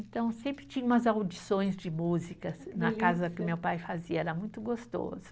Então, sempre tinha umas audições de músicas na casa que meu pai fazia, era muito gostoso.